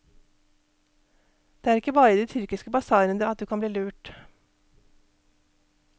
Det er ikke bare i de tyrkiske basarene at du kan bli lurt.